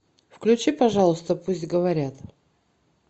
включи пожалуйста пусть говорят